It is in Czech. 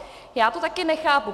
Já to také nechápu.